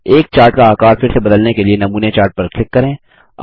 एक चार्ट का आकार फिर से बदलने के लिए नमूने चार्ट पर क्लिक करें